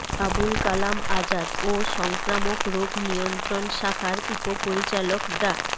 আবুল কালাম আজাদ ও সংক্রামক রোগ নিয়ন্ত্রণ শাখার উপপরিচালক ডা